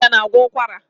Ginger na-agwọ ụkwara.